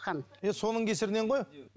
е соның кесірінен ғой